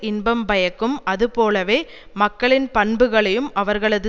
இன்பம் பயக்கும் அது போலவே மக்களின் பண்புகளையும் அவர்களது